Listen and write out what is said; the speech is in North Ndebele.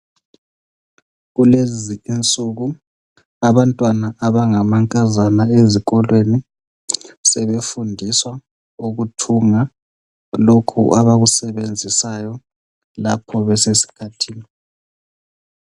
Kuleziinsuku abantwana abangamankazana ezikolweni sebefundiswa ukuthunga lokhu abakusebenzisayo lapho besikhathini.